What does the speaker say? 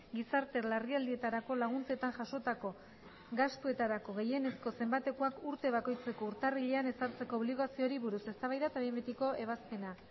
gizarte larrialdietarako laguntzetan jasotako gastuetarako gehienezko zenbatekoak urte bakoitzeko urtarrilean ezartzeko obligazioari buruz eztabaida eta behin betiko ebazpena